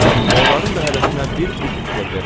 O biri də, onların da hərəsinə bir frixdır ver.